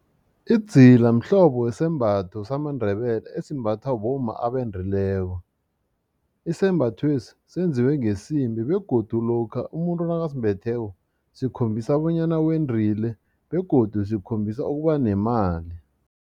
Idzila mhlobo wesembatho samaNdebele esimbathwa bomma abendileko isembatho lesi senziwe ngesimbi begodu lokha umuntu nakasimbetheko sikhombisa bonyana wendile begodu sikhombisa ukuba nemali.